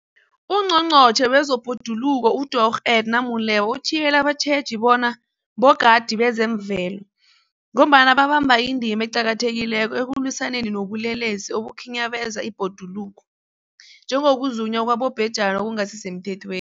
UNgqongqotjhe wezeBhoduluko uDorh Edna Molewa uthiyelele abatjheji bona bogadi bezemvelo, ngombana babamba indima eqakathekileko ekulwisaneni nobulelesi obukhinyabeza ibhoduluko, njengokuzunywa kwabobhejani okungasisemthethwe